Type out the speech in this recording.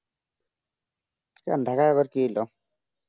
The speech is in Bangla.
কেন ঢাকায় আবার কি হইল